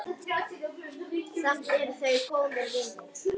Finnur stafaði það fyrir hann.